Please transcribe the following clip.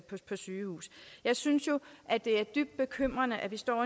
sygehus jeg synes jo det er dybt bekymrende at vi står